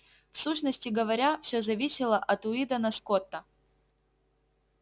в сущности говоря всё зависело от уидона скотта